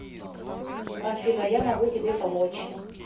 афина я могу тебе помочь